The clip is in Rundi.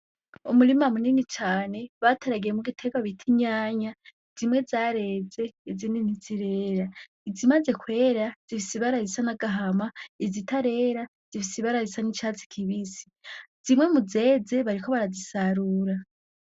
Umurima munini cane bateragiyemwo igiterwa bitaa itomate, zimwe zareze izindi ntizirera, izimaze kwera zifise ibira risa nagahama izitarera z'ifise ibara icatsi kibisi, zimwe muzeze bariko barazisarura.